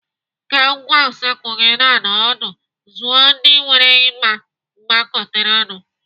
Ka ngwá usekwu gị na-anọ ọdụ, zụọ ndị nwere ịgba gbagoterenụ.